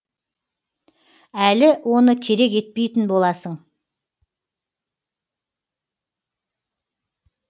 әлі оны керек етпейтін боласың